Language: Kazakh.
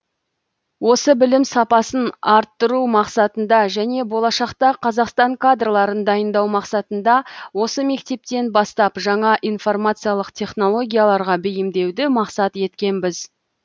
осы білім сапасын арттыру мақсатында және болашақта қазақстан кадрларын дайындау мақсатында осы мектептен бастап жаңа информациялық технологияларға бейімдеуді мақсат еткенбіз